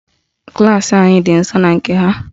Klaasị anyị dị nsọ na nke ha